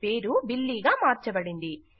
పేరు బిల్లీ గా మార్చబడింది